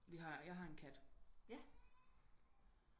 Vi har jeg har en kat